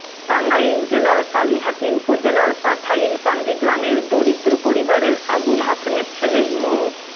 টাঙ্গাইল জেলার কালিহাতী উপজেলার পাথাইলকান্দি গ্রামের দরিদ্র পরিবারের আবুল হাশেমের ছেলে মো